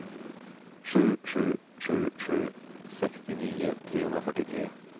sju sju sju sju sextionio trehundrafyrtiotre